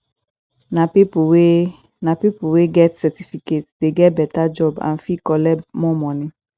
nah people wey nah people wey get certificate dey get beta job and fit collect more money